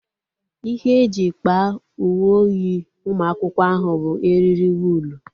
Ihe e ji kpaa uwe oyi ụmụ akwụkwọ ahụ bụ eriri wụlu